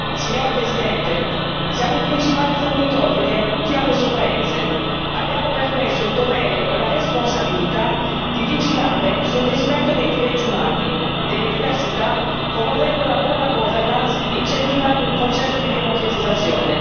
Signor Presidente, siamo i principali fornitori di aiuti a questo paese abbiamo per questo il dovere e la responsabilità di vigilare sul rispetto dei diritti umani e delle diversità, promuovendo la buona governance e incentivando il processo di democratizzazione.